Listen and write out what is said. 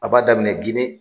A b'a daminɛ Ginɛ